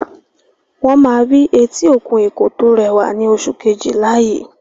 Wọ́n máa rí etí òkun Èkó tó rẹwà ní oṣù Kejìlá yìí